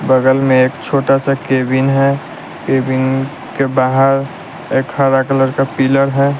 बगल में एक छोटा सा केबिन है केबिनन के बाहर एक हरा कलर का पिलर है।